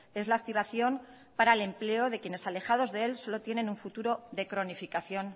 es la activación para el empleo de quienes alejados de él solo tienen un futuro de cronificación